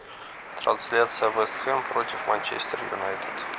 трансляция вест хэм против манчестер юнайтед